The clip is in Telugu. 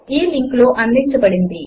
ఈ లింక్ లో అందించబడినది